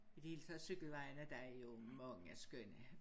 I det hele taget cykelvejen er der jo mange skønne